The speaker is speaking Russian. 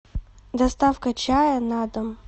доставка чая на дом